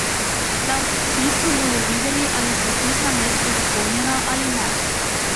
Šele ob vpisu bodo videli, ali so vpisna mesta zapolnjena ali ne.